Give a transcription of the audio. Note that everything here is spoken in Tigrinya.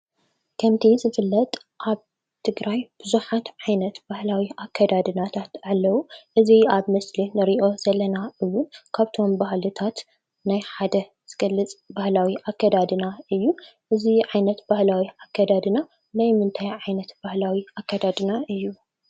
ከምቲ ዝፍለጥ አብ ትግራይ ብዙሓት ዓይነት ባህላዊ አከዳድናታት አለው። እዚ አብ ምስሊ ንሪኦ ዘለና እውን ካብቶም ባህልታት ናይ ሓደ ዝገልፅ ባህላዊ አከዳድና እዩ። እዚ ዓይነት ባህላዊ አከዳድና ናይ ምንታይ ዓይነት ባህላዊ አከዳድና እይ?